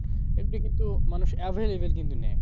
এগুলো কিন্তু, মানুষ available কিন্তু নেই